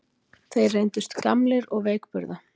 Þeir reyndust gamlir og veikburða